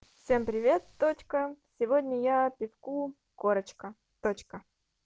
всем привет точка сегодня я пивку корочка точка